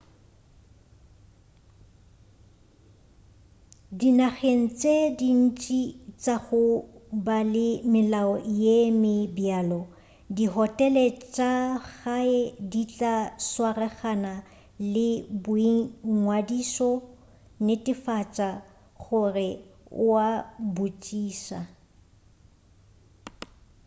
dinageng tše dintši tša go ba le melao ye me bjalo dihotele tša gae di tla swaragana le boingwadišo netefatša gore o a botšiša